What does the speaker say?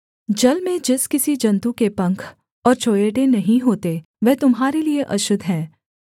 जल में जिस किसी जन्तु के पंख और चोंयेटे नहीं होते वह तुम्हारे लिये अशुद्ध है